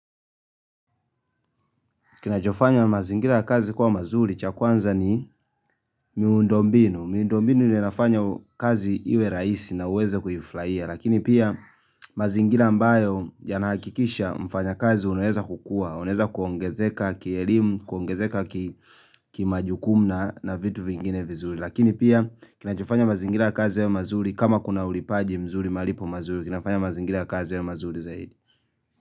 Kinachofanya mazingira ya kazi kwa mazuri cha kwanza ni miundombinu. Miundombinu ndio inafanya kazi iwe rahisi na uweze kuifurahia. Lakini pia mazingira ambayo yanahakikisha mfanya kazi unaeza kukuwa. Unaeza kuongezeka kielimu, kuongezeka kimajukumu na na vitu vingine vizuri. Lakini pia kinachofanya mazingira ya kazi yawe mazuri kama kuna ulipaji mzuri malipo mazuri. Kinafanya mazingira ya kazi yawe mazuri zaidi.